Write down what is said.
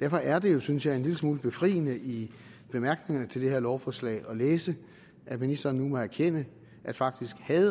derfor er det jo synes jeg en lille smule befriende i bemærkningerne til det her lovforslag at læse at ministeren nu må erkende at faktisk havde